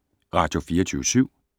Radio24syv